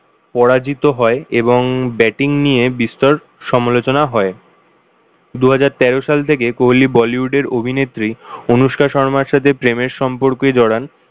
পরাজিত হয় এবং ব্যাটিং নিয়ে বিস্তর সমালোচনা হয়। দুহাজার তেরো সাল থেকে কোহলি bollywood এর অভিনেত্রী অনুশকা শর্মার সাথে প্রেমের সম্পর্কে জড়ান।